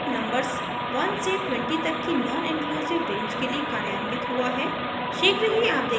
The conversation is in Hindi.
यहाँ each लूप नंबर्स 1 से 20 तक की नॉनइंक्लूसिव रेंज के लिए कार्यान्वित हुआ है